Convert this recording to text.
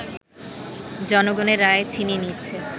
জনগণের রায় ছিনিয়ে নিচ্ছে